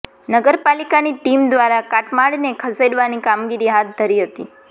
નગરપાલિકા ની ટીમ દ્વારા કાટમાળને ખસેડવાની કામગીરી હાથ ધરી હતી